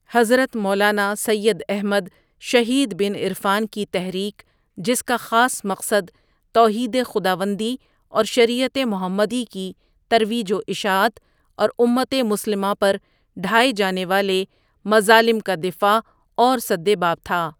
حضرت مولانا سید احمد شہید ؒبن عرفانؒ کی تحریک جس کا خاص مقصد توحید خداوندی اورشریعت محمدی کی ترویج واشاعت اور امت مسلمہ پرڈھائے جانے والے مظالم کا دفاع اورسدباب تھا ۔